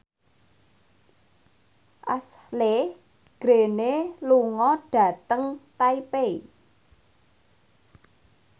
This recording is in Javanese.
Ashley Greene lunga dhateng Taipei